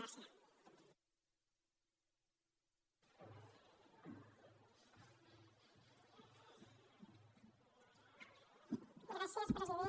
gràcies president